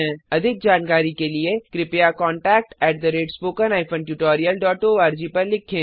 अधिक जानकारी के लिए कृपया contactspoken tutorialorg पर लिखें